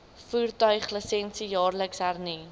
voertuiglisensie jaarliks hernu